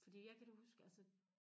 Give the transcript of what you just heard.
Fordi jeg kan da huske altså